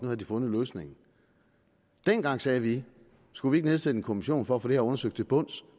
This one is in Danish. havde de fundet løsningen dengang sagde vi skulle vi ikke nedsætte en kommission for at få det her undersøgt til bunds